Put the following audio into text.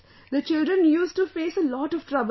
The children used to face a lot of trouble